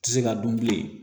Tɛ se ka dun bilen